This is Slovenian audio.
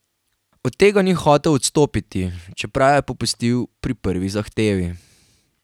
Od tega ni hotel odstopiti, čeprav je popustil pri prvi zahtevi.